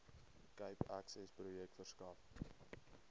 cape accessprojek verskaf